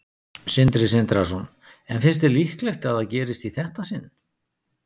Sindri Sindrason: En finnst þér líklegt að það gerist í þetta sinn?